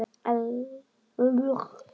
Elska þig, þín dóttir, Ásdís.